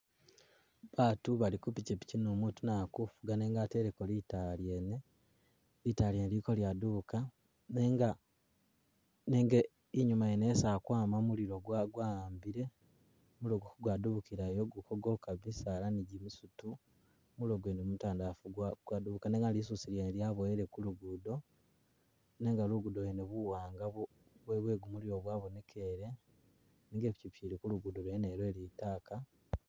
Batu bali kupikyipikyi nu mutu naye ali kufuga nenga ateleko litaala lyene, litaala lyene lili kalyadubuka nenga nenga inyuma yene isi alikwama muliro gwa gwa'ambile, muliro ka gwadubukilayo ka gwoka bisaala ni gimisuto, muliro gwene mutandafu gwa gwadubuka, nenga lisusu lyaboyele ku lugudo nenga lugudo lwene buwanga bu bwe bwe gumuliro bwabonekele nenga Ipikyipikyi ili ku lugudo lwene lwe litaaka